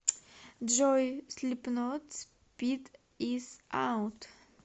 джой слипнот спид ис аут